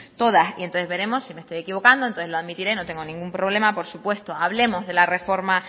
todas entonces veremos si me estoy equivocando entonces lo admitiré no tengo ningún problema por supuesto hablemos de la reforma